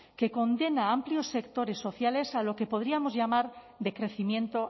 que condena a amplios sectores sociales a lo que podríamos llamar de crecimiento